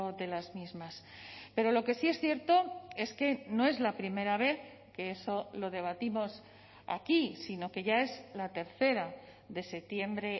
de las mismas pero lo que sí es cierto es que no es la primera vez que eso lo debatimos aquí sino que ya es la tercera de septiembre